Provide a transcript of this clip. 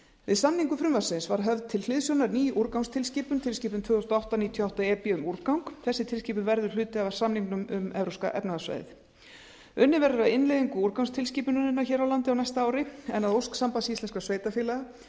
við samningu frumvarpsins var höfð til hliðsjónar ný úrgangstilskipun tilskipun tvö þúsund og átta níutíu og átta e b um úrgang þessi tilskipun verður hluti af samningnum um evrópska efnahagssvæðið unnið verður að innleiðingu úrgangstilskipunarinnar hér á landi á næsta ári en að ósk sambands íslenskra sveitarfélaga